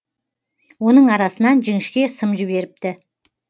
оның арасынан жіңішке сым жіберіпті